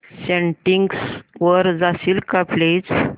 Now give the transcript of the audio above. settings वर जाशील का प्लीज